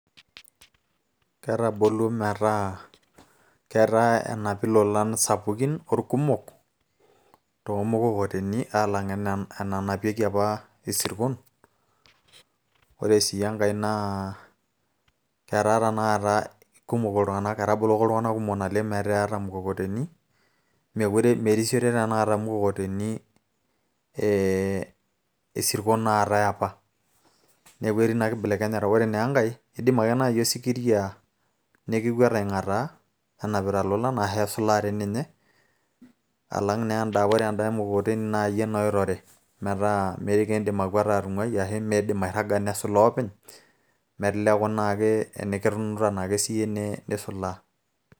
ketaboluo metaa ketaa enapi ilolan sapukin orkumok toomukokoteni aalang enanapieki apa isirkon ore sii enkay naa ketaa tenakata kumok iltung'anak etaboloko iltung'anak kumok naleng metaa eeta imukokoteni mekure merisiore tenakata imukokoteni ee isirkon ootay apa neeku etii ina kibelekenyata ore naa enkay idim ake naaji osikiria nekikwet aing'ataa enapita ilolan ashu esulaa tii ninye alang naa enda akore enda emukokoteni naa iyie naa oitore metaa mikiindim akwata atung'uai ashu miidim airraga nesulaa openy meteleku naa ake tenikitunuta naake siiyie nisulaa.